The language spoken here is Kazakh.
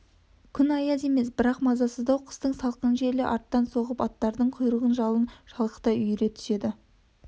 күн аяз емес бірақ мазасыздау қыстың салқын желі арттан соғып аттардың құйрығын жалын шалқыта үйіре түседі